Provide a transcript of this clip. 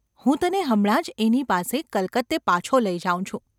‘હું તને હમણાં જ એની પાસે કલકત્તે પાછો લઈ જાઉં છું.